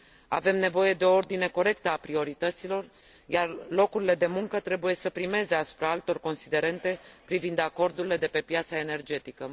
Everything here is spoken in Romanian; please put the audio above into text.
Avem nevoie de o ordine corectă a priorităților, iar locurile de muncă trebuie să primeze asupra altor considerente privind acordurile de pe piața energetică.